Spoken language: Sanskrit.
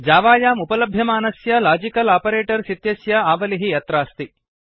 जावायाम् उपलभ्यमानस्य लाजिकल् आपरेटर्स् इत्यस्य आवलिः अत्रास्ति